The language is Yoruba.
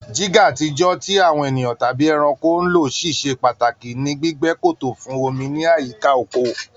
jígà àtijọ́, tí àwọn ènìyàn tàbí ẹranko ń ló, ṣiṣẹ́ pàtàkì ní gbígbẹ́ kòtò fún omi ní àyíká oko.